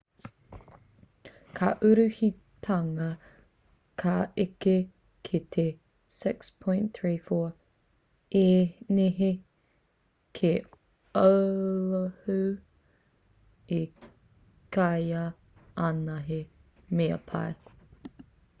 ka uruhitanga ka eke ki te 6.34 īnihi ki oahu i kīa ana he mea pai